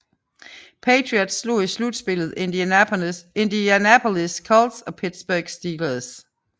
Patriots slog i slutspillet Indianapolis Colts og Pittsburg Steelers